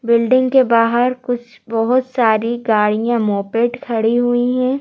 Building के बाहर कुछ बहुत सारी गाड़ियां मोपेट खड़ी हुई हैं।